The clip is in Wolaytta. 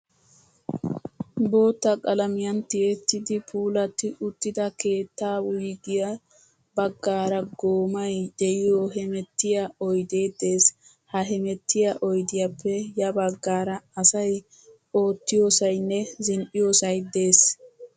Bootta qalamiyan t'ettidi puulatti uttida keettaa wuyige baggaara goomayi diyoo hemettiyaa oyidee des. Ha hemettiyaa oyidiyaappe ya baggaara asayi ottiyoosayinne zin''iyoosay das.